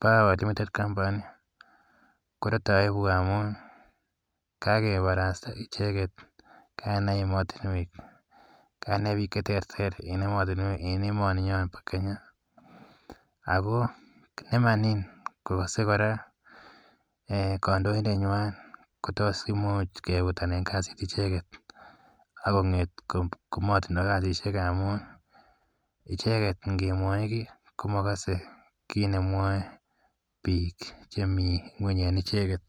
Power Limited Company korate aibu amun kakiparasta icheget kainai ematunwek. Kainai pik che terter en ematunwek, en emaninyo pa Kenya, ako iman kokase kora kandoindetnyan, ko imuch kefutan kasi icheget ako ng'et ko matindai kasishek amun icheget ngemwachi ki ko makase kiit nemwai pik chemi ng'weny en icheget.